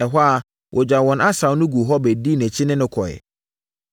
Ɛhɔ ara, wɔgyaa wɔn asau no guu hɔ bɛdii nʼakyi ne no kɔeɛ.